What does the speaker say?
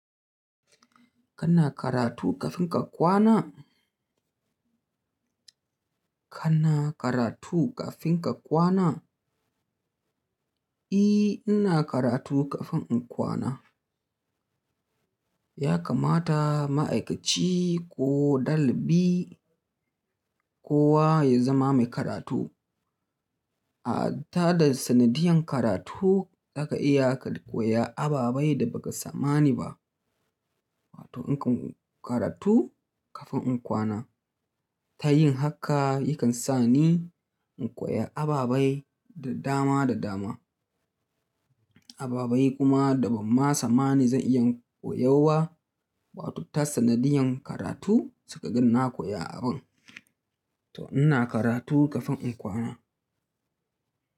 Kana karatu ƙafin ka kwana? Kana karatu ƙafin ka kwana? I, ina karatu kafin in kwana. Ya kamata ma'aikaci ko ɗalibi kowa ya zama mai karatu. A ta da sanadiyan karatu za ka iya ka koya ababei da ba ka sammani ba. Wato in ka karatu ƙafin in kwana ta yin haka yakan sa ni in koya ababei da dama da dama. Ababei kuma da ban ma sammani zan iya koyo ba, wato ta sanadiyan karatu suka ga na koya abun. To ina karatu ƙafin in kwana.